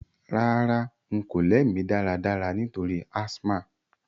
Rárá, n ko lẹ́ mí dáradára nítorí asthma